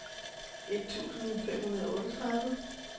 et tusind fem hundrede og otteogtredive